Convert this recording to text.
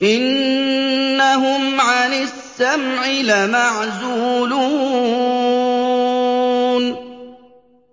إِنَّهُمْ عَنِ السَّمْعِ لَمَعْزُولُونَ